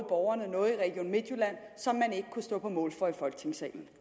borgerne noget i region midtjylland som man ikke kunne stå på mål for i folketingssalen